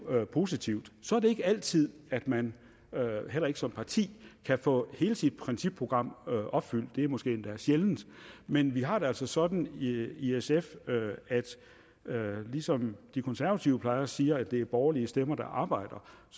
positivt så er det ikke altid at man heller ikke som parti kan få hele sit principprogram opfyldt det er måske endda sjældent men vi har det altså sådan at i sf ligesom de konservative plejer at sige nemlig at det er borgerlige stemmer der arbejder